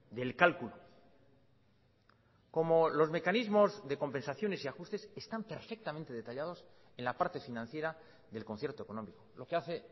del cálculo como los mecanismos de compensaciones y ajustes están perfectamente detallados en la parte financiera del concierto económico lo que hace